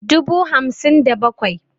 dubu hamsin da bakwai